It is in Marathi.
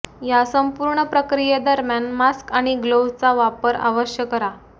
या संपूर्ण प्रक्रीये दरम्यान मास्क आणि ग्लोव्हजचा वापर अवश्य करा